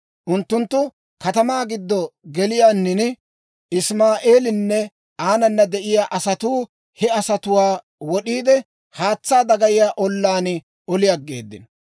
Unttunttu katamaa giddo geliyaanin, Isimaa'eelinne aanana de'iyaa asatuu he asatuwaa wod'iide, haatsaa dagayiyaa ollaan oli aggeeddino.